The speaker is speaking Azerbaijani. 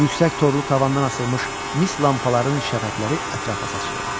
Yüksək torlu tavandan asılmış mis lampaların şəfəqləri ətrafa saçılırdı.